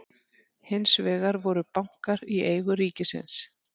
hins vegar voru bankar í eigu ríkisins